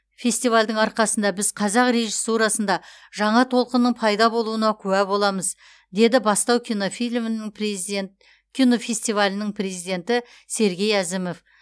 фестивальдің арқасында біз қазақ режиссурасында жаңа толқынның пайда болуына куә боламыз деді бастау кинофильмінің приздент кинофестивалінің президенті сергей әзімов